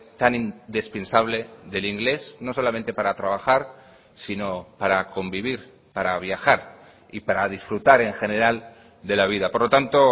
tan indispensable del inglés no solamente para trabajar sino para convivir para viajar y para disfrutar en general de la vida por lo tanto